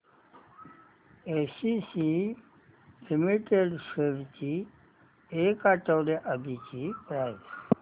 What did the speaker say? ACC limited shares ची एक आठवड्या आधीची प्राइस